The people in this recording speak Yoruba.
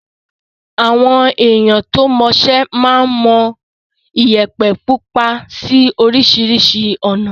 Àwọn èèyàn tó mọṣẹ́ máa ń mọ Iyẹ̀pẹ̀ pupa sí oríṣiríṣi ọ̀nà.